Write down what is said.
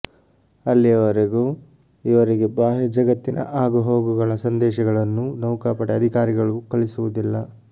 ಅಲ್ಲಿಯವರೆಗೂ ಇವರಿಗೆ ಬಾಹ್ಯ ಜಗತ್ತಿನ ಆಗುಹೋಗುಗಳ ಸಂದೇಶಗಳನ್ನು ನೌಕಾಪಡೆ ಅಧಿಕಾರಿಗಳು ಕಳಿಸುವುದಿಲ್ಲ